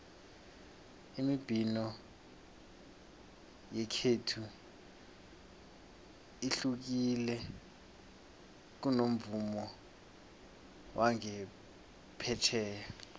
imibhino yekhethu ihlukile kunomvumo wangaphetjheya